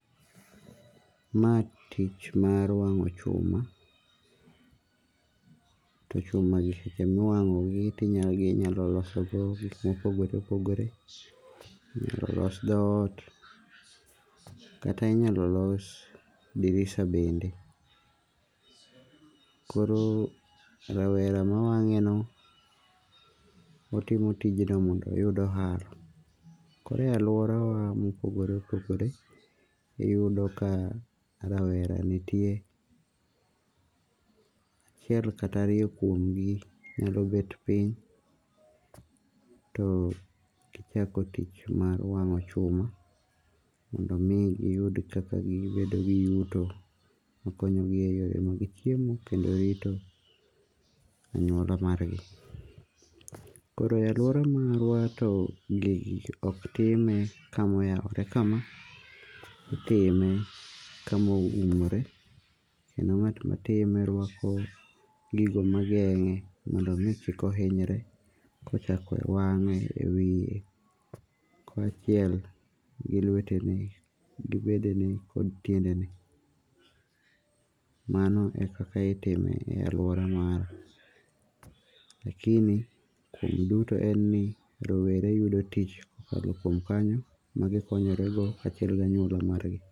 Ma tich mar wang'o chuma. To chuma gi ema iwang' gi ti inyalosolo go gik ma opogore opogore. Inyalo los dhot kata inyalo los dirisa bende. Koro rawera mawang'e no otimo tijno mondo oyud ohala. Koro e aluora wa mopogore opogore, iyudo ka rawera nitie. Achiel kata ariyo kuom gi nyalo bet piny to chako tich mar wang'o chuma mondo mi giyud kaka gibedo yuto makonyo gi e yore mag chiemo kendo rito anyuola mar gi. Koro ae luara marwa to onge ok time kama oyawore kama. Itime kama oumore kendo ng'at matime rwako gigo mageng'e mondo kik ohinyre konyako wang'e, e wiye ka achiel gi lwetene, gi bedene, kod tiendene. Mano ekaka itime e aluora mar wa. Lakini kuom duto en ni rowere yudo tich ko kalo kuom kanyo magi konyore go kachiel gi anyuola margi.